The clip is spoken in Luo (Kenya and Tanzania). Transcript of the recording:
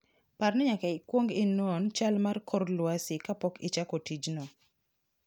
Par ni nyaka ikwong inon chal mar kor lwasi kapok ichako tijno.